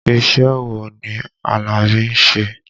Iṣẹ́ wo ni Alabi ń ṣe?